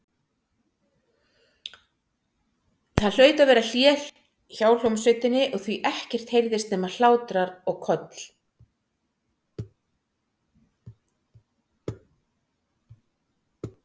Það hlaut að vera hlé hjá hljómsveitinni því að ekkert heyrðist nema hlátrar og köll.